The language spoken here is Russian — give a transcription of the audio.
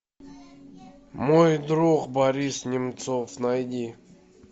мой друг борис немцов найди